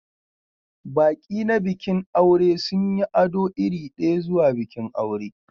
Baƙi na bikin aure sun yi ado iri ɗaya zuwa bikin aure